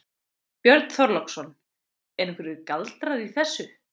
Björn Þorláksson: Eru einhverjir galdrar í þessu?